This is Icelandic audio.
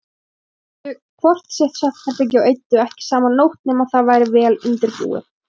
Þau höfðu hvort sitt svefnherbergið og eyddu ekki saman nótt nema það væri vel undirbúið.